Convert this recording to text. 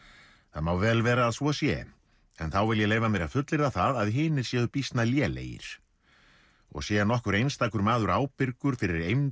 það má vel vera að svo sé en þá vil ég leyfa mér að fullyrða það að hinir séu býsna lélegir og sé nokkur einstakur maður ábyrgur fyrir eymd